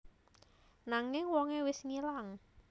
Nanging wongé wis ngilang